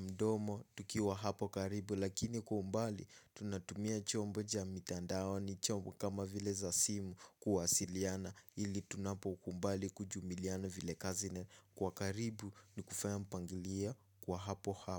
mdomo tukiwa hapo karibu. Lakini kwa umbali tunatumia chombo cha mitandaoni chombo kama vile za simu kuwasiliana. Ili tunapokubali kujumiliana vile kazi kwa karibu ni kufaya mpangilio kwa hapo hapo.